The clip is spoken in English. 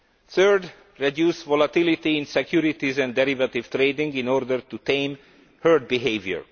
Thirdly, reduce volatility in securities and derivative trading in order to tame herd behaviour.